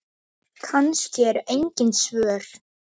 En það brestur ekki.